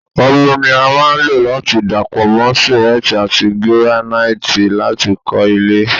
Omi ní a lo láti dapọ mọ simenti ati giranaiti lati kọ ilé